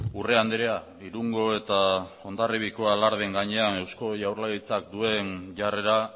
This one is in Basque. urrea andrea irungo eta hondarribiako alardearen gainean eusko jaurlaritzak duen jarrera